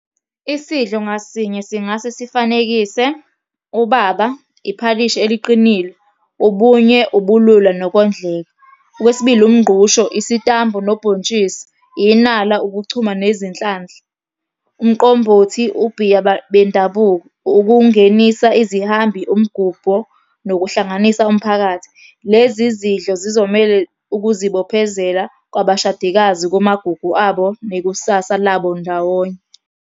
Isidlo ngasinye singase sifanekise, ubaba, iphalishi eliqinile, ubunye, ubulula nokondleka. Okwesibili, umngqusho, isitambu nobhontshisi, inala, ukuchuma nezinhlahla, umqombothi, ubhiya bendabuko, ukungenisa izihambi, umgubho, nokuhlanganisa umphakathi. Lezi zidlo sizomele ukuzibophezela kwabashadikazi kumagugu abo nekusasa labo ndawonye.